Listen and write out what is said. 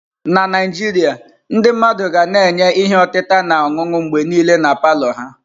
Na Naijiria, ndị mmadụ ga na-enye ihe otita na ọṅụṅụ mgbe niile na palọ ha.